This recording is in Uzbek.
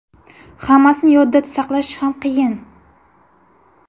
Hammasini yodda saqlash ham qiyin!